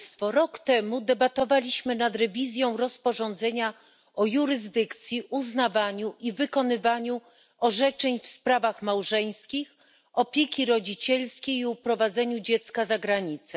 Rok temu debatowaliśmy nad przeglądem rozporządzenia o jurysdykcji, uznawaniu i wykonywaniu orzeczeń w sprawach małżeńskich, opiece rodzicielskiej i uprowadzeniu dziecka za granicę.